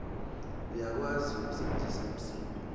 uyakwazi ukusebenzisa imisindo